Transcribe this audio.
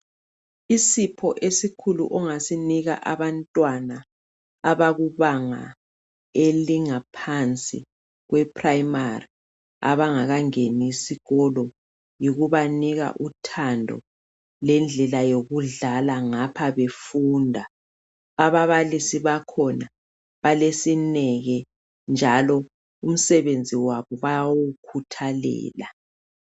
Isipho esikhulu ongasinika abantwana abakubanga elingaphansi kweprayimari, abangakangeni isikolo yikubanika uthando lendlela yokudlala ngapha befunda. Ababalisi bakhona balesineke njalo umsebenzi wabo bayawukhuthalela.